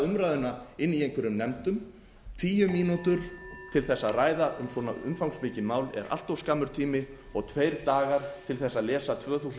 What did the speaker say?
umræðuna inni í einhverjum nefndum tíu mínútur til þess að ræða um svona umfangsmikið mál er allt of skammur tími og tveir dagar til þess að lesa tvö þúsund þrjú